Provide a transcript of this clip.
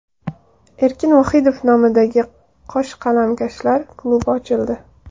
Erkin Vohidov nomidagi yosh qalamkashlar klubi ochildi.